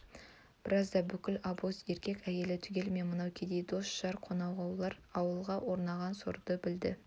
біразда бүкіл обоз еркек-әйелі түгелімен мынау кедей дос-жар қонауғар ауылға орнаған сорды білді